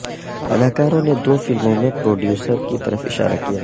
اداکاروں نے دو فلموں میں پروڈیوسر کی طرف اشارہ کیا